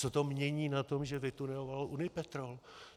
Co to mění na tom, že vytuneloval Unipetrol?